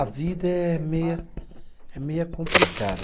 A vida é meia, é meia complicada.